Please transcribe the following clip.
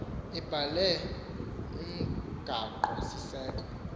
ibhale umgaqo siseko